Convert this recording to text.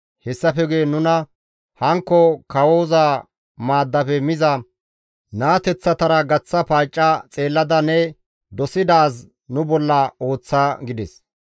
Hessafe guye nuna hankko kawoza maaddafe miza naateththatara gaththa paacca xeellada ne dosidaaz nu bolla ooththa» gides.